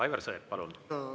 Aivar Sõerd, palun!